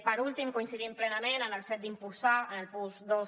per últim coincidim plenament en el fet d’impulsar en el punt dos